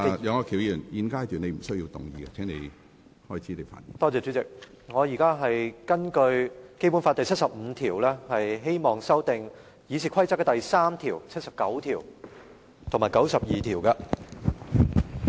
主席，我現在根據《中華人民共和國香港特別行政區基本法》第七十五條，希望修訂《議事規則》第3、79及92條。